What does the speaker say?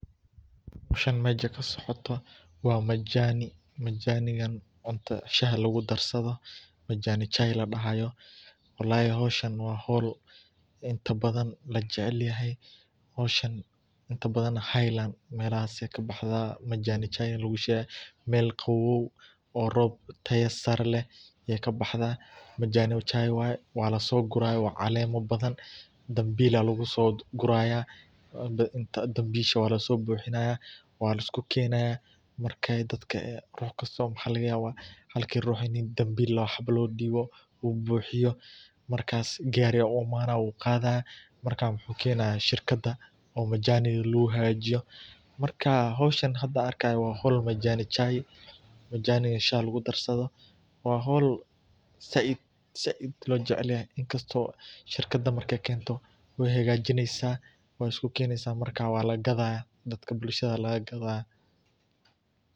Xowshaan mesha kasocoto wa majani, majanigan shaha lagudarsado, majani chai ladahayo walahi xowshaan wa xowl inta badan kujecelyomahay, howshaan inta badan highland melahas ayay kabahan, dadaxda majani chai lagushegayo mel qawow oo roob tayo sare leh ayay kabxda, majani cahi waye, walasoqura caleema badan danbil aya lagusoguraya, danbish walasobubinaya waliskukenaya marka ay dadka ay ruux kastawa waxa lagayawaa halki ruux ini danbil lawo ruux lodiwo, oo lobuhiyo marka gari aya uimani wu gadaya marka wuxu kenaya shirkada oo majaniga laguhagajiyo, marka howshaan hada an arkayo wa xowl [ majani chai majaniga shaha lagudarsado, wa xowl zaid ojecelyahay inkasto oo shitkada markay kento way hagajineysa, way iskukeneysa marka waladagadaya, dadka bulshada aya lagagadagya,.